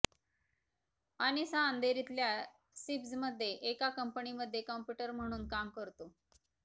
अनिस हा अंधेरीतल्या सिप्झमध्ये एका कंपनीमध्ये कंम्प्युटर म्हणून काम करतो